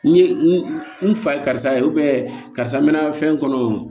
N ye n fa ye karisa ye karisa n mɛ na fɛn kɔnɔ